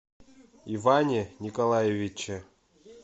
иване николаевиче